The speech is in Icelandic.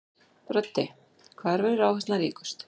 Broddi: Hvar verður áherslan ríkust?